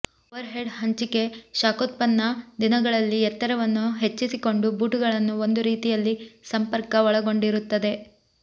overhead ಹಂಚಿಕೆ ಶಾಖೋತ್ಪನ್ನ ದಿನಗಳಲ್ಲಿ ಎತ್ತರವನ್ನು ಹೆಚ್ಚಿಸಿಕೊಂಡು ಬೂಟುಗಳನ್ನು ಒಂದು ರೀತಿಯಲ್ಲಿ ಸಂಪರ್ಕ ಒಳಗೊಂಡಿರುತ್ತದೆ